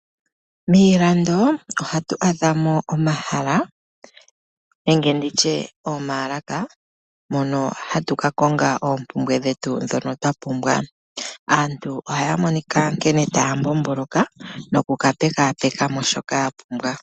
Miila do ohatu adha mo omahala nenge nditye omaalaka, mono hatu ka konga oompumbwe dhetu ndhono twa pumbwa. Aantu ohaya monika nkene taya mbomboloka noku ka pekaapeka mo shoka ya pumbwa.